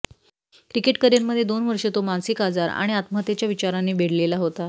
cricket करिअरमध्ये दोन वर्ष तो मानसीक आजार आणि आत्महत्येच्या विचारांनी वेढलेला होता